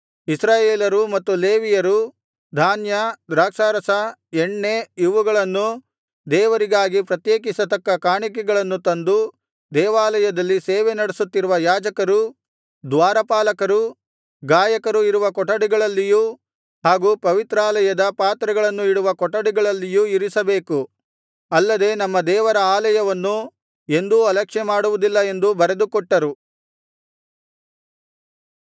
ಇಸ್ರಾಯೇಲರೂ ಮತ್ತು ಲೇವಿಯರೂ ಧಾನ್ಯ ದ್ರಾಕ್ಷಾರಸ ಎಣ್ಣೆ ಇವುಗಳನ್ನು ದೇವರಿಗಾಗಿ ಪ್ರತ್ಯೇಕಿಸತಕ್ಕ ಕಾಣಿಕೆಗಳನ್ನು ತಂದು ದೇವಾಲಯದಲ್ಲಿ ಸೇವೆ ನಡೆಸುತ್ತಿರುವ ಯಾಜಕರೂ ದ್ವಾರಪಾಲಕರು ಗಾಯಕರು ಇರುವ ಕೊಠಡಿಗಳಲ್ಲಿಯೂ ಹಾಗು ಪವಿತ್ರಾಲಯದ ಪಾತ್ರೆಗಳನ್ನು ಇಡುವ ಕೊಠಡಿಗಳಲ್ಲಿಯೂ ಇರಿಸಬೇಕು ಅಲ್ಲದೆ ನಮ್ಮ ದೇವರ ಆಲಯವನ್ನು ಎಂದೂ ಅಲಕ್ಷ್ಯ ಮಾಡುವುದಿಲ್ಲ ಎಂದು ಬರೆದುಕೊಟ್ಟರು